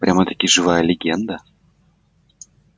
прям-таки живая легенда